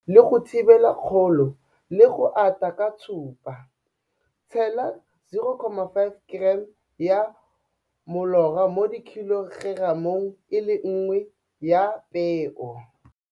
Le go thibela kgolo le go ata ga tshupa. Tshela 0,5 g ya molora mo khilogeramong e le nngwe ya peo.